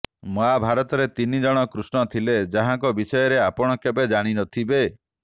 ମହାଭାରତରେ ତିନି ଜଣ କୃଷ୍ଣ ଥିଲେ ଯାହାଙ୍କ ବିଷୟରେ ଆପଣ କେବେ ଜାଣି ନଥିବେ